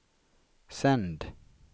sänd